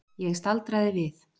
Ég staldraði við.